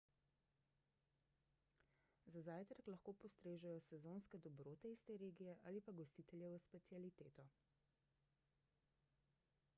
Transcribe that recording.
za zajtrk lahko postrežejo sezonske dobrote iz te regije ali pa gostiteljevo specialiteto